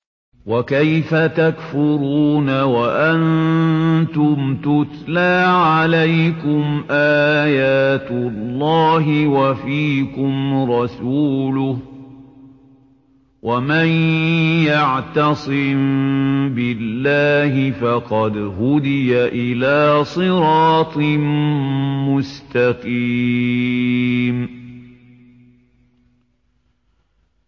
وَكَيْفَ تَكْفُرُونَ وَأَنتُمْ تُتْلَىٰ عَلَيْكُمْ آيَاتُ اللَّهِ وَفِيكُمْ رَسُولُهُ ۗ وَمَن يَعْتَصِم بِاللَّهِ فَقَدْ هُدِيَ إِلَىٰ صِرَاطٍ مُّسْتَقِيمٍ